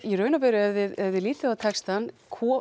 í raun og veru ef þið lítið á textann